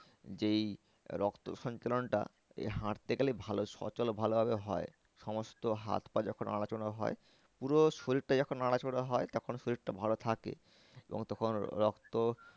যেই রক্ত সঞ্চালনটা এই হাঁটতে গেলে ভালো সচল ভালো ভাবে হয়। সমস্ত হাত পা যখন নড়াচড়া হয় পুরো শরীরটা যখন নড়াচড়া হয় তখন শরীরটা ভালো থাকে। এবং তখন রক্ত